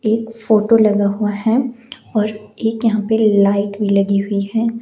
एक फोटो लगा हुआ हैऔर एक यहां पे लाइट भी लगी हुई है।